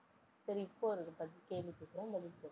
சரி இப்ப ஒரு பதில் கேள்வி கேக்குறேன், பதில் சொல்லு